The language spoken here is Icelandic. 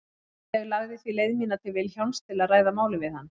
Ég lagði því leið mína til Vilhjálms til að ræða málið við hann.